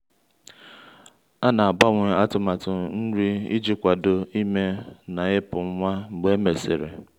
a na-agbanwe atụmatụ nri iji kwado ime na ịpụ nwa mgbe e mesịrị.